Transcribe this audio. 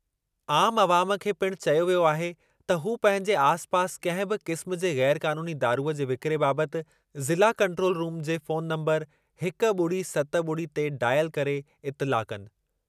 आमु अवाम खे पिणु चयो वियो आहे त हू पंहिंजे आसि पासि कंहिं बि क़िस्म जे ग़ैर क़ानूनी दारूंअ जे विकिरे बाबति ज़िला कंट्रोल रुम ते फोन नंबरु हिकु ॿुड़ी सत ॿुड़ी ते डायल करे इतिलाउ कनि।